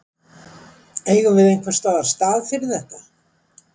Eigum við einhvers staðar stað fyrir þetta?